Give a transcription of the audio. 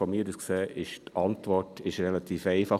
Aus meiner Sicht ist die Antwort relativ einfach.